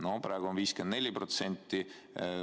No praegu on see 54%.